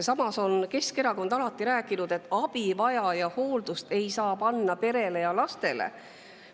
Samas on Keskerakond alati rääkinud, et abivajaja hooldamise ei saa panna perele ja lastele.